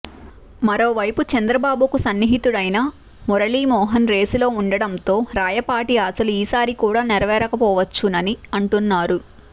మరోవైపు చంద్రబాబుకు సన్నిహితుడైన మురళీ మోహన్ రేసులో ఉండటంతో రాయపాటి ఆశలు ఈసారి కూడా నెరవేరకపోచ్చునని అంటున్నారు